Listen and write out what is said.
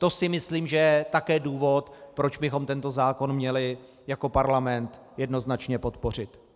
To si myslím, že je také důvod, proč bychom tento zákon měli jako parlament jednoznačně podpořit.